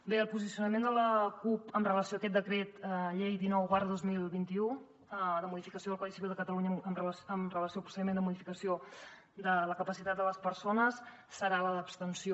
bé el posicionament de la cup amb relació a aquest decret llei dinou dos mil vint u de modificació del codi civil de catalunya amb relació al procediment de modificació de la capacitat de les persones serà l’abstenció